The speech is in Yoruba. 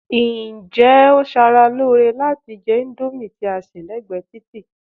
Ǹjẹ́ ó ṣara lóore láti jẹ índómì tí a sè lẹ́gbẹ̀ẹ́ títì?